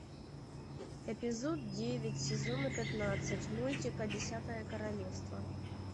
эпизод девять сезона пятнадцать мультика десятое королевство